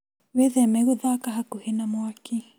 Wĩtheme gũthaka hakuhĩ na mwaki